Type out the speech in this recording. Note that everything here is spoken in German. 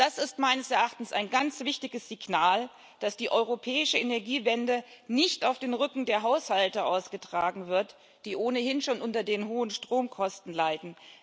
Das ist meines Erachtens ein ganz wichtiges Signal dafür, dass die europäische Energiewende nicht auf dem Rücken der Haushalte ausgetragen wird, die ohnehin schon unter den hohen Stromkosten leiden.